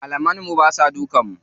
Malaman mu basa dukan mu.